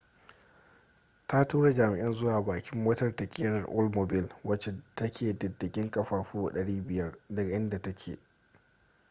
ta tura jami'an zuwa bakin motar ta kerar oldmobile wacce take diddigen kafafu 500 daga inda take